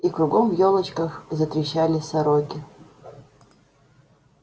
и кругом в ёлочках затрещали сороки